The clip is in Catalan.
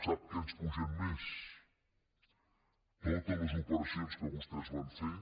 sap què ens pugen més totes les opera cions que vostès van fer